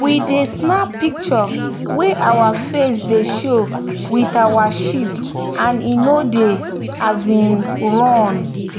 we dey snap picture wey our face dey show with our sheep and e no dey um run.